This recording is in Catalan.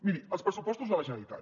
miri els pressupostos de la generalitat